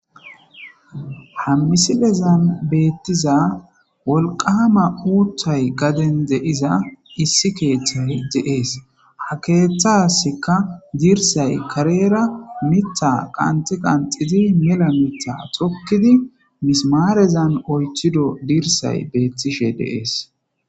hammisilezan beettiza wolqaama uuthay gaden de7iza issi keeththay deees ha keeththasika diirsay kareera mitha qanxi qanxizi mela mitha xokkidi misimaarezan olchido diirsay beettishe deees